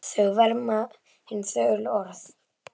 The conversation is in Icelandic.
Þau verma hin þögulu orð.